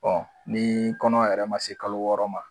ni kɔnɔ yɛrɛ man se kalo wɔɔrɔ ma.